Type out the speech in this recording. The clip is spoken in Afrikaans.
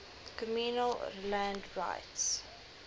communal land rights